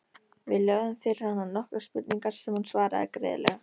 Við lögðum fyrir hana nokkrar spurningar sem hún svaraði greiðlega.